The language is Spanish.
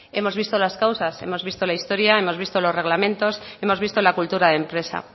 hemos visto las causas hemos visto la historia hemos visto los reglamentos hemos visto la cultura de empresa